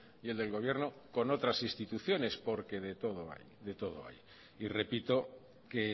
y el del gobierno con otras instituciones porque de todo hay de todo hay y repito que